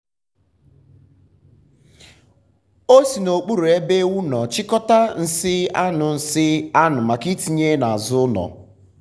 o si n'okpuru ebe ewu nọ chịkọta nsị anụ nsị anụ maka itinye n'azụ ụlọ.